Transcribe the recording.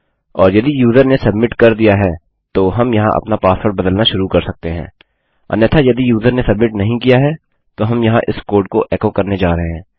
और यदि यूज़र ने सब्मिट कर दिया है तो हम यहाँ अपना पासवर्ड बदलना शुरू कर सकते हैं अन्यथा यदि यूज़र ने सब्मिट नहीं किया है तो हम यहाँ इस कोड को एको करने जा रहे हैं